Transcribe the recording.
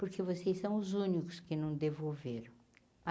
Porque vocês são os únicos que não devolveram.